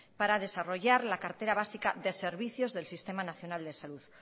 para desarrollar la cartera básica de servicios del sistema nacional de salud